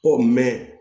Ko